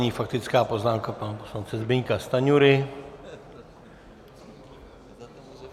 Nyní faktická poznámka pana poslance Zbyňka Stanjury.